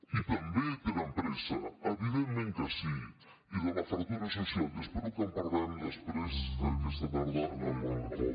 i també tenen pressa evidentment que sí de la fractura social i espero que en parlem després aquesta tarda en el debat de convivència